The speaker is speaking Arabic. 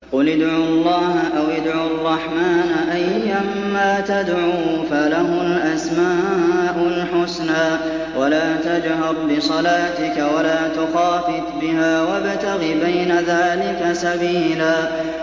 قُلِ ادْعُوا اللَّهَ أَوِ ادْعُوا الرَّحْمَٰنَ ۖ أَيًّا مَّا تَدْعُوا فَلَهُ الْأَسْمَاءُ الْحُسْنَىٰ ۚ وَلَا تَجْهَرْ بِصَلَاتِكَ وَلَا تُخَافِتْ بِهَا وَابْتَغِ بَيْنَ ذَٰلِكَ سَبِيلًا